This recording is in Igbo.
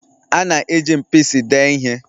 A na-eji mpisi dee ihe